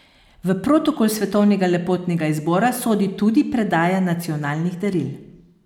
V protokol svetovnega lepotnega izbora sodi tudi predaja nacionalnih daril.